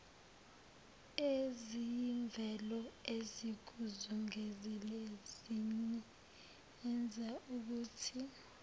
eziyimvelo ezikuzungezile ziyenzaukuthi